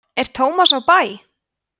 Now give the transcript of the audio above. er tómas á bæ